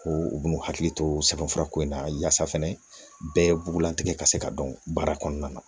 Ko u bin'u hakili to sɛbɛn fura ko in na yaasa fɛnɛ bɛɛ bugulatigɛ ka se ka dɔn baara kɔnɔna na